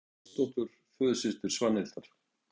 Pálsdóttur, föðursystur Svanhildar.